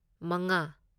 ꯃꯉꯥ